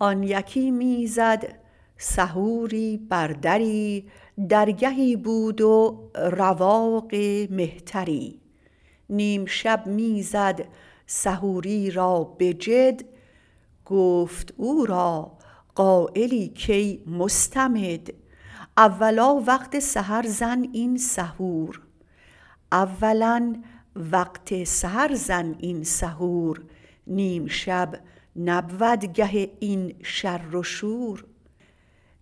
آن یکی می زد سحوری بر دری درگهی بود و رواق مهتری نیم شب می زد سحوری را به جد گفت او را قایلی کای مستمد اولا وقت سحر زن این سحور نیم شب نبود گه این شر و شور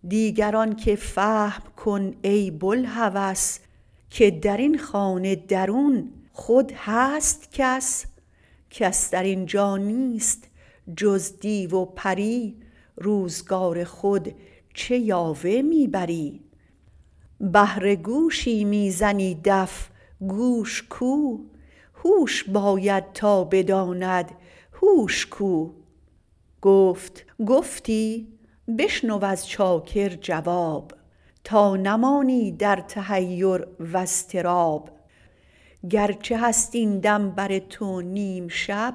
دیگر آنک فهم کن ای بوالهوس که درین خانه درون خود هست کس کس درینجا نیست جز دیو و پری روزگار خود چه یاوه می بری بهر گوشی می زنی دف گوش کو هوش باید تا بداند هوش کو گفت گفتی بشنو از چاکر جواب تا نمانی در تحیر و اضطراب گرچه هست این دم بر تو نیم شب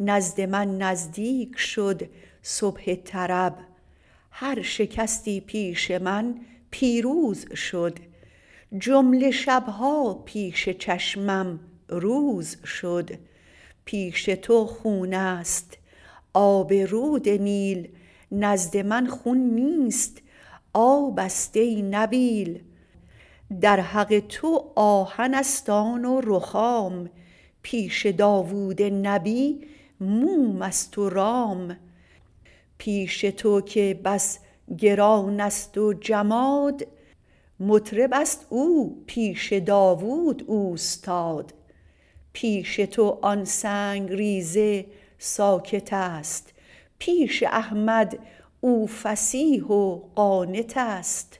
نزد من نزدیک شد صبح طرب هر شکستی پیش من پیروز شد جمله شب ها پیش چشمم روز شد پیش تو خون است آب رود نیل نزد من خون نیست آبست ای نبیل در حق تو آهن است آن و رخام پیش داود نبی موم است و رام پیش تو که بس گران است و جماد مطرب است او پیش داود اوستاد پیش تو آن سنگ ریزه ساکت است پیش احمد او فصیح و قانت است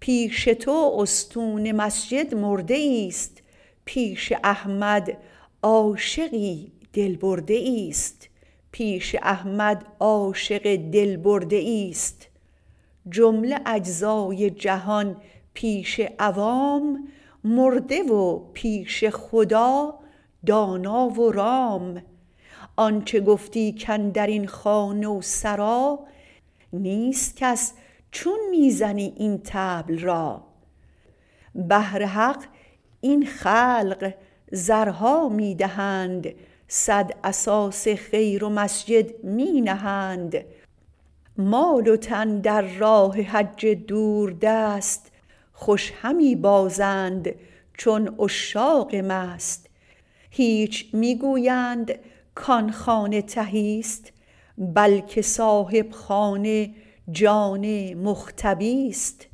پیش تو استون مسجد مرده ایست پیش احمد عاشقی دل برده ایست جمله اجزای جهان پیش عوام مرده و پیش خدا دانا و رام آنچ گفتی کاندرین خانه و سرا نیست کس چون می زنی این طبل را بهر حق این خلق زرها می دهند صد اساس خیر و مسجد می نهند مال و تن در راه حج دوردست خوش همی بازند چون عشاق مست هیچ می گویند کان خانه تهی ست بلک صاحب خانه جان مختبی ست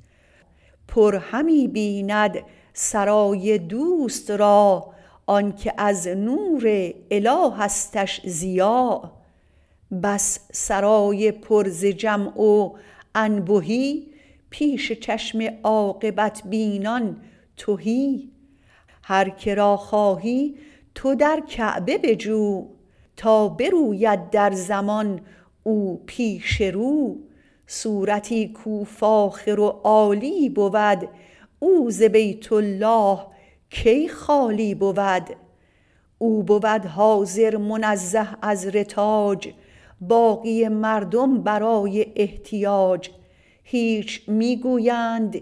پر همی بیند سرای دوست را آنک از نور الهستش ضیا بس سرای پر ز جمع و انبهی پیش چشم عاقبت بینان تهی هر که را خواهی تو در کعبه بجو تا بروید در زمان او پیش رو صورتی کاو فاخر و عالی بود او ز بیت الله کی خالی بود او بود حاضر منزه از رتاج باقی مردم برای احتیاج هیچ می گویند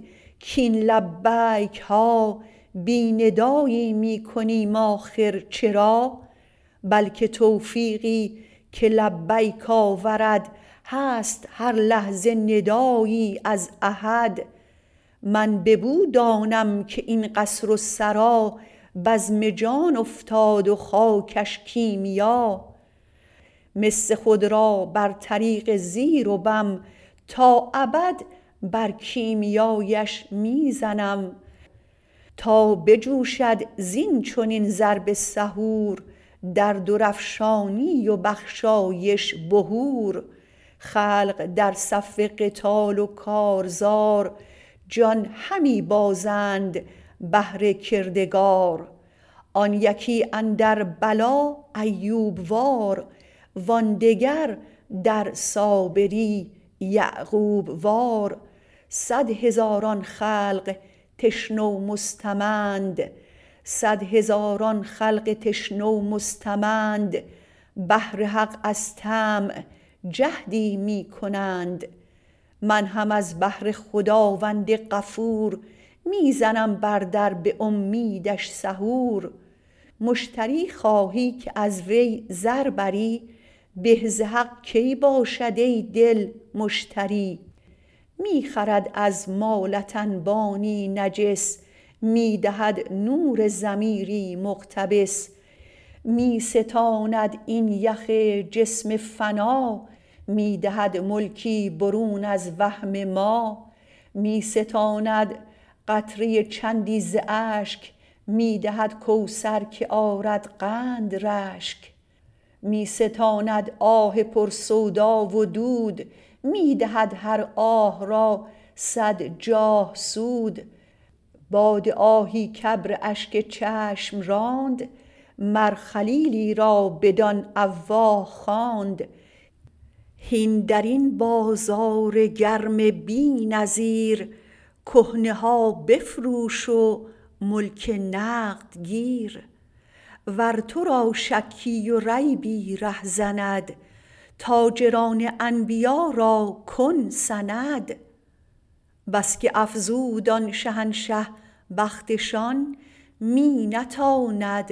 کاین لبیک ها بی ندایی می کنیم آخر چرا بلک توفیقی که لبیک آورد هست هر لحظه ندایی از احد من ببو دانم که این قصر و سرا بزم جان افتاد و خاکش کیمیا مس خود را بر طریق زیر و بم تا ابد بر کیمیااش می زنم تا بجوشد زین چنین ضرب سحور در درافشانی و بخشایش بحور خلق در صف قتال و کارزار جان همی بازند بهر کردگار آن یکی اندر بلا ایوب وار وان دگر در صابری یعقوب وار صد هزاران خلق تشنه و مستمند بهر حق از طمع جهدی می کنند من هم از بهر خداوند غفور می زنم بر در به اومیدش سحور مشتری خواهی که از وی زر بری به ز حق کی باشد ای دل مشتری می خرد از مالت انبانی نجس می دهد نور ضمیری مقتبس می ستاند این یخ جسم فنا می دهد ملکی برون از وهم ما می ستاند قطره چندی ز اشک می دهد کوثر که آرد قند رشک می ستاند آه پر سودا و دود می دهد هر آه را صد جاه سود باد آهی که ابر اشک چشم راند مر خلیلی را بدان اواه خواند هین درین بازار گرم بی نظیر کهنه ها بفروش و ملک نقد گیر ور ترا شکی و ریبی ره زند تاجران انبیا را کن سند بس که افزود آن شهنشه بختشان می نتاند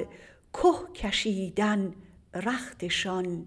که کشیدن رختشان